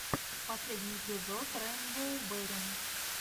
последний эпизод рэйнбоу берри